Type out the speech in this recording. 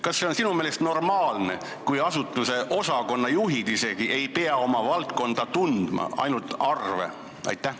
Kas see on sinu meelest normaalne, kui isegi asutuse osakonnajuhid ei pea oma valdkonda tundma, peavad teadma ainult arve?